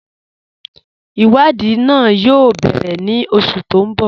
Iwadii náà yóò bẹ̀rẹ̀ ní oṣù tí n bọ́.